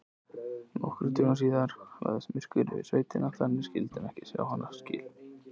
Nokkrum dögum síðar lagðist myrkur yfir sveitina þannig að ekki sá handa skil.